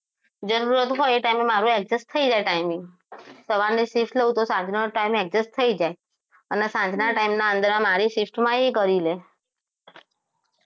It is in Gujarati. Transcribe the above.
જરૂરત હોય એ time મારું adjust થઈ જાય time એ સવારની shift લવ તો સાંજ નો time એક જ થઈ જાય અને સાંજના time ના અંદર મારી shift માં એ કરી લે